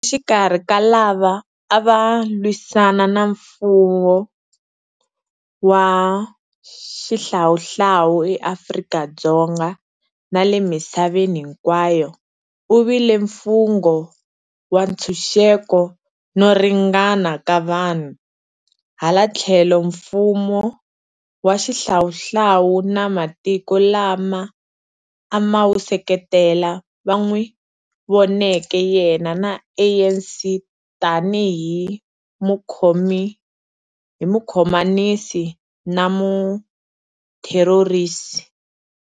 Exikarhi ka lava a va lwisana na mfumo wa xihlawuhlawu eAfrika-Dzonga na le misaveni hinkwayo, u vile mfungo wa ntshuxeko no ringana ka vanhu, hala tlhelo mfumo wa xihlawuhlawu na matiko lawa a ma wu seketela va n'wi voneke yena na ANC tanihi mukhomanisi na mutherorisi.